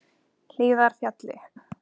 Hlíðarfjalli